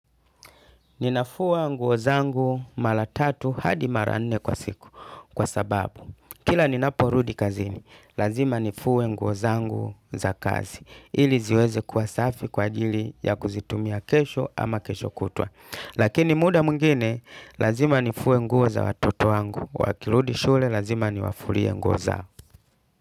Ninafua nguo zangu mara tatu hadi mara nne kwa siku. Kwa sababu, kila ninaporudi kazini, lazima nifue nguovzangu za kazi. Ili ziweze kuwa safi kwa ajili ya kuzitumia kesho ama kesho kutwa. Lakini muda mwigine, lazima nifue nguo za watoto wangu. Wakirudi shule, lazima niwafulie nguo zao.